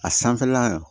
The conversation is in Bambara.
A sanfɛla